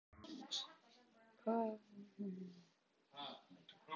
Hvað viltu fá að vita?